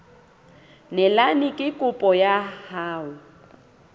neelane ka kopo ya hao